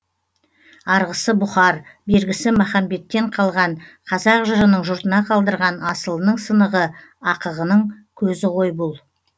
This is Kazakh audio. арғысы бұхар бергісі махамбеттен қалған қазақ жырының жұртына қалдырған асылының сынығы ақығының көзі ғой бұл